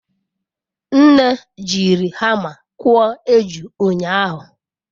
Nne jiri hama kụọ eju ụnyahụ.